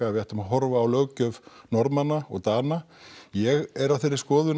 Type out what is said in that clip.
við ættum að horfa á löggjöf Norðmanna og Dana ég er á þeirri skoðun